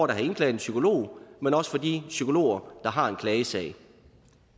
der har indklaget en psykolog men også de psykologer der har en klagesag